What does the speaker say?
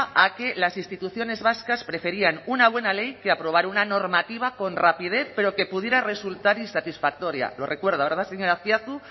a que las instituciones vascas preferían una buena ley que aprobar una normativa con rapidez pero que pudiera resultar insatisfactoria lo recuerda verdad señor azpiazu